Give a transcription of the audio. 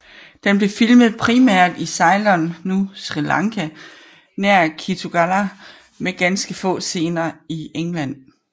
Den blev filmet primært i Ceylon nu Sri Lanka nær Kitulgala med ganske få scener i England